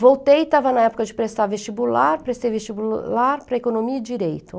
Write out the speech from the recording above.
Voltei, estava na época de prestar vestibular, prestei vestibular para economia e direito.